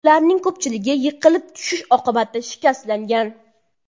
Ularning ko‘pchiligi yiqilib tushish oqibatida shikastlangan.